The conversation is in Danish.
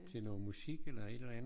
Til noget musik eller et eller andet